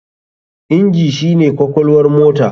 Inji shi ne kwakwalwar motar.